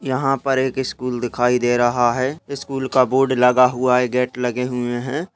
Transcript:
यहाँ पर एक स्कूल दिखाई दे रहा है स्कूल का बोर्ड लगा हुआ है गेट लगे हुआ है।